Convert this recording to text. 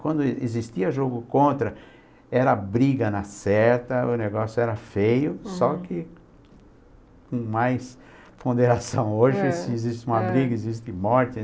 Quando existia jogo contra, era briga na certa, o negócio era feio, só que que com mais ponderação hoje, existe uma briga, existe morte.